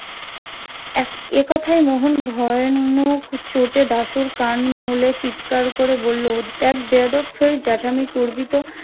এ কথাই মোহন ভয়ানক চোটে দাশুর কান মুলে চিৎকার করে বললো দেখ বেয়াদব ফের জ্যাঠামি করবি তো